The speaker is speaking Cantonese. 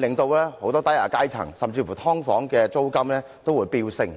對很多低下階層市民造成影響，甚至令"劏房"租金飆升。